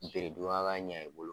Bere dun ka kan ɲɛ i bolo.